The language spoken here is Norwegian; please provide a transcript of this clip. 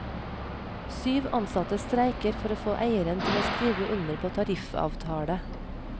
Syv ansatte streiker for å få eieren til å skrive under på tariffavtale.